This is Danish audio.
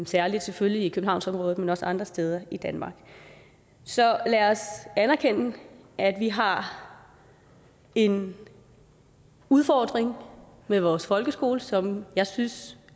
særlig selvfølgelig i københavnsområdet men også andre steder i danmark så lad os anerkende at vi har en udfordring med vores folkeskole som jeg synes